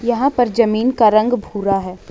वहां पर जमीन का रंग भूरा है ।